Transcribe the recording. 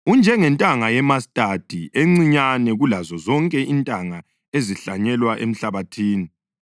Unjengentanga yemastadi encinyane kulazo zonke intanga ezihlanyelwa emhlabathini.